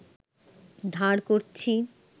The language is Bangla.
ধার করছি